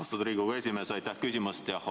Austatud Riigikogu esimees, aitäh küsimast!